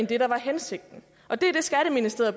det der var hensigten